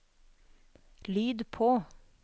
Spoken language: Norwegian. lyd på